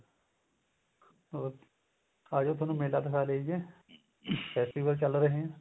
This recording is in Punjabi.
ਹੋਰ ਆਜੋ ਤੁਹਾਨੂੰ ਮੇਲਾ ਦਿਖਾ ਲਿਆਈਏ festival ਚੱਲ ਰਹੇ ਏ